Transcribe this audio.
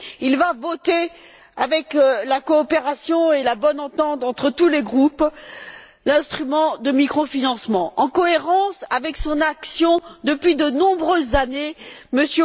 Il va voter, grâce à la coopération et à la bonne entente entre tous les groupes, l'instrument de microfinancement, en cohérence avec son action depuis de nombreuses années M.